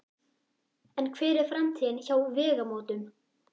En hver er framtíðin hjá Vegamótum?